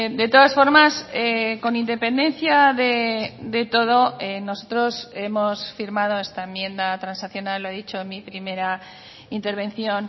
de todas formas con independencia de todo nosotros hemos firmado esta enmienda transaccional lo he dicho en mi primera intervención